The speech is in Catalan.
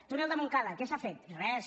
túnel de montcada què s’ha fet res